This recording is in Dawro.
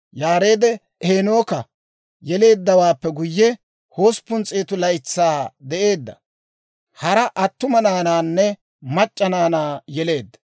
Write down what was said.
Yaareed Heenooka yeleeddawaappe guyye, 800 laytsaa de'eedda; hara attuma naanaanne mac'c'a naanaa yeleedda.